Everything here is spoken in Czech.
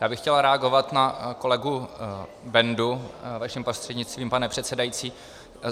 Já bych chtěl reagovat na kolegu Bendu vaším prostřednictvím, pane předsedající.